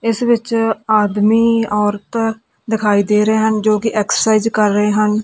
ਇਸ ਵਿੱਚ ਆਦਮੀ ਔਰਤਾਂ ਦਿਖਾਈ ਦੇ ਰਹੇ ਹਨ ਜੋ ਕਿ ਐਕਸਰਸਾਈਜ਼ ਕਰ ਰਹੇ ਹਨ।